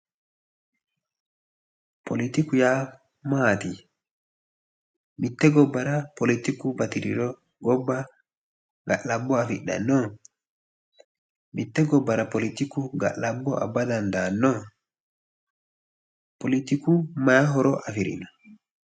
politiku yaa maati mitte gobbara politiku batiriro gobba ga'labbo afidhanno? mitte gobbara politiku ga'labbo abba dandaanno? politiku may horo afirino?